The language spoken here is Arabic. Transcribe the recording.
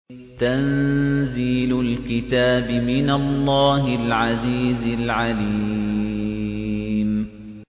تَنزِيلُ الْكِتَابِ مِنَ اللَّهِ الْعَزِيزِ الْعَلِيمِ